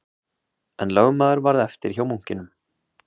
En lögmaður varð eftir hjá munkinum